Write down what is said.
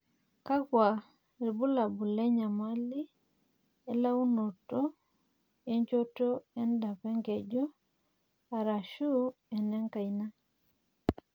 kakua irbulabol le nyamali e launoto e nchoto edap enkeju aashu enkaina?